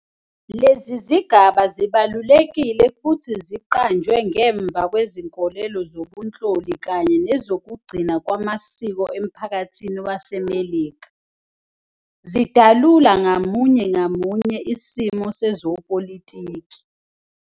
Lezi zigaba zibalulekile futhi ziqanjwe ngemva kwezinkolelo zobunhloli kanye nezoku gcina kwamasiko emphakathini wase Melika, zidalula ngamunye ngamunye isimo sezopolitiki.